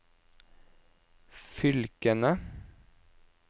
fylkene